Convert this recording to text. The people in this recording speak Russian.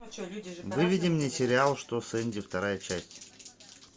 выведи мне сериал что с энди вторая часть